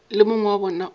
le mongwe wa bona o